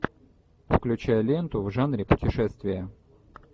включай ленту в жанре путешествия